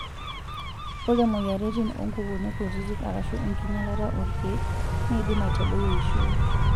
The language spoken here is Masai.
ore moyiaritin onkukuni kutiti arashuu enkinyialata orkiek neidim aitadoi eishioi.